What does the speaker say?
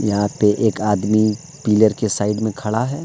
यहां पे एक आदमी पिलर के साइड में खड़ा है।